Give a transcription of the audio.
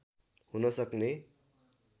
हुन सक्ने